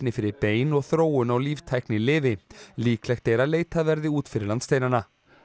fyrir bein og þróun á líklegt er að leitað verði út fyrir landsteinana